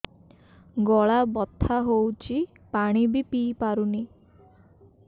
ଗଳା ବଥା ହଉଚି ପାଣି ବି ପିଇ ପାରୁନି